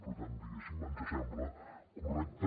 per tant diguéssim ens sembla correcte